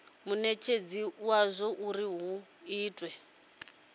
munetshedzi wadzo uri hu itwe